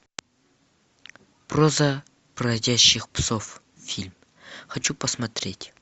проза бродячих псов фильм хочу посмотреть